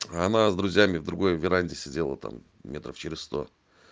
а она с друзьями в другой веранде сидела там метров через сто